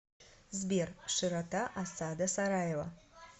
сбер широта осада сараева